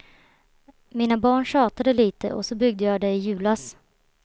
Mina barn tjatade lite och så byggde jag det i julas.